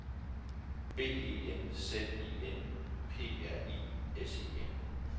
B E N Z I N P R I S E N